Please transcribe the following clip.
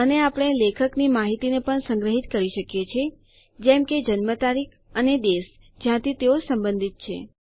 અને આપણે લેખકની માહિતીને પણ સંગ્રહીત કરી શકીએ છીએ જેમ કે જન્મ તારીખ અને દેશ જ્યાંથી તેઓ સંબંધિત છે